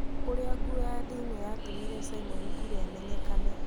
ũrĩa nguo ya thĩini yatũmire Simon Ngure amenyekane